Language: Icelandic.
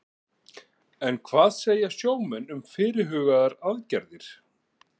En hvað segja sjómenn um fyrirhugaðar aðgerðir?